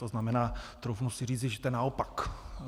To znamená, troufnu si říci, že to je naopak.